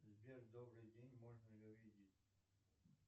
сбер добрый день можно ли увидеть